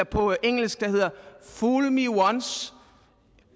på engelsk der hedder fool me once